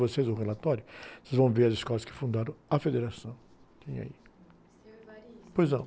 vocês um relatório, vão ver as escolas que fundaram a federação, que tem aí. seu ...ois não.